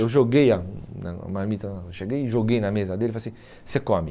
Eu joguei a a marmita na, eu cheguei e joguei na mesa dele e falei assim, você come.